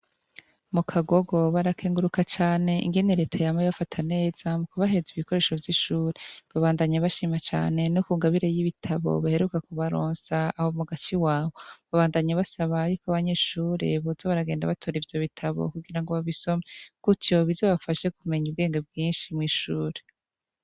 Mu Kagogo barakenguruka cane ingene Leta yama ibafata neza mu kubahereza ibikoresho vy'ishure, babandanya bashima cane no ku ngabire y'ibitabo baheruka kubaronsa aho mu gace iwabo, babandanya basaba yuko abanyeshure boza baragenda batora ivyo bitabo kugira ngo babisome, gutyo bizobafashe kumenya ubwenge bwinshi mw'ishure.